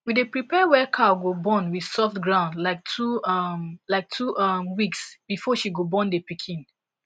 we day prepare where cow go born with soft ground like two um like two um weeks before she go born the piken